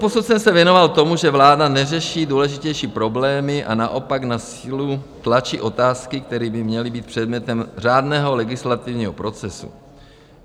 Doposud jsem se věnoval tomu, že vláda neřeší důležitější problémy a naopak na sílu tlačí otázky, které by měly být předmětem řádného legislativního procesu.